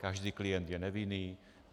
Každý klient je nevinný.